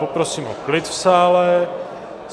Poprosím o klid v sále.